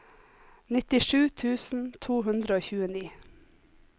nittisju tusen to hundre og tjueni